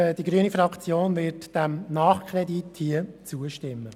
Nichtsdestotrotz wird die grüne Fraktion diesem Nachkredit zustimmen.